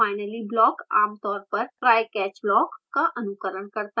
finally block आमतौर पर trycatch block का अनुकरण करता है